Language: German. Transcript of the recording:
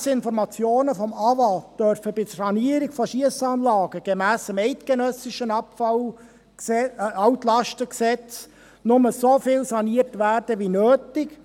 Gemäss Informationen des Amtes für Wasser und Abfall (AWA) darf bei der Sanierung von Schiessanlagen gemäss dem eidgenössischen Altlastengesetz nur so viel saniert werden wie nötig.